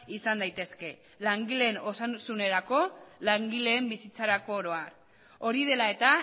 izan daitezke langileen osasunerako langileen bizitzarako oro har hori dela eta